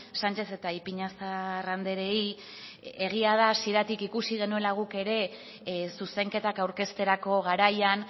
sánchez eta ipiñazar andreei egia da hasieratik ikusi genuela guk ere zuzenketak aurkezterako garaian